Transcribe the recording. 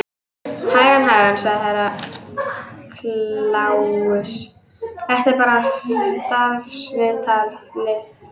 Hægan, hægan, sagði Herra Kláus, þetta er bara starfsviðtalið.